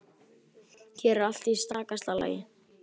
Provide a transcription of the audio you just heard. Hér er allt í stakasta lagi.